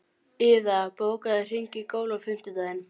Iða, bókaðu hring í golf á fimmtudaginn.